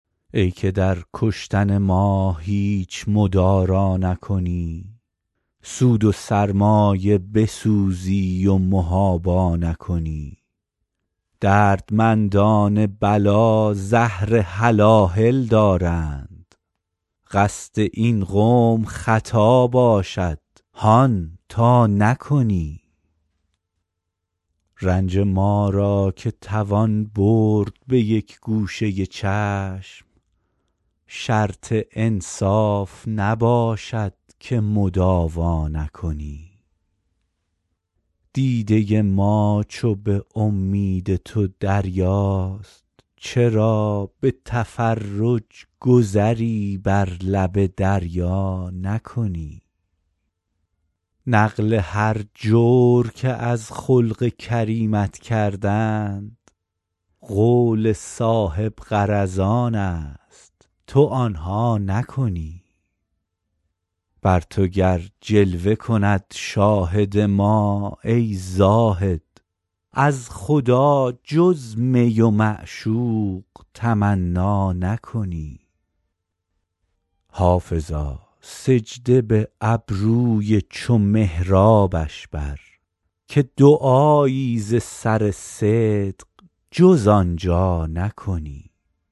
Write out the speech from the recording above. ای که در کشتن ما هیچ مدارا نکنی سود و سرمایه بسوزی و محابا نکنی دردمندان بلا زهر هلاهل دارند قصد این قوم خطا باشد هان تا نکنی رنج ما را که توان برد به یک گوشه چشم شرط انصاف نباشد که مداوا نکنی دیده ما چو به امید تو دریاست چرا به تفرج گذری بر لب دریا نکنی نقل هر جور که از خلق کریمت کردند قول صاحب غرضان است تو آن ها نکنی بر تو گر جلوه کند شاهد ما ای زاهد از خدا جز می و معشوق تمنا نکنی حافظا سجده به ابروی چو محرابش بر که دعایی ز سر صدق جز آن جا نکنی